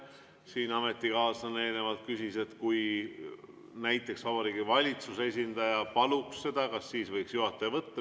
Siin ametikaaslane eelnevalt küsis, et kui näiteks Vabariigi Valitsuse esindaja palub seda, kas siis võiks juhataja vaheaja võtta.